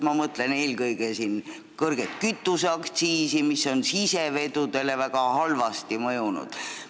Ma mõtlen siin eelkõige kõrget kütuseaktsiisi, mis on sisevedudele väga halvasti mõjunud.